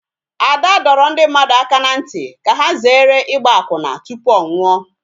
Ada dọrọ ndị mmadụ aka n'ntị ka ha zere ịgba akwụna tụpụ ọ nwụọ